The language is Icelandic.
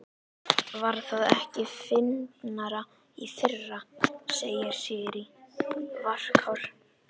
Var það ekki fyndnara í fyrra, segir Sirrý, varkár.